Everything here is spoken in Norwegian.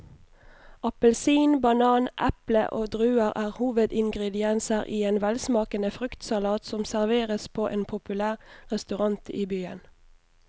Appelsin, banan, eple og druer er hovedingredienser i en velsmakende fruktsalat som serveres på en populær restaurant i byen.